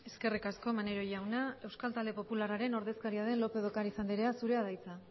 eskerrik asko maneiro jauna euskal talde popularraren ordezkaria den lópez de ocáriz andrea zurea da hitza